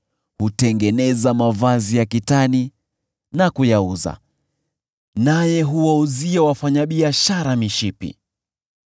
Hutengeneza mavazi ya kitani na kuyauza, naye huwauzia wafanyabiashara mishipi.